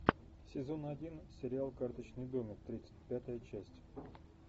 сезон один сериал карточный домик тридцать пятая часть